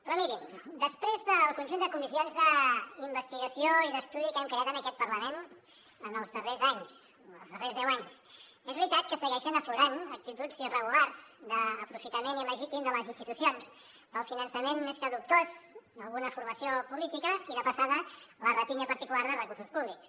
però mirin després del conjunt de comissions d’investigació i d’estudi que hem creat en aquest parlament en els darrers anys els darrers deu anys és veritat que segueixen aflorant actituds irregulars d’aprofitament il·legítim de les institucions pel finançament més que dubtós d’alguna formació política i de passada la rapinya particular de recursos públics